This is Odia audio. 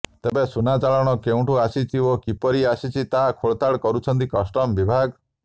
ତେବେ ସୁନା ଚାଳାଣ କେଉଁଠୁ ଆସିଛି ଓ କିପରି ଆସିଛି ତାର ଖୋଲତାଡ କରୁଛି କଷ୍ଟମ ବିଭାଗ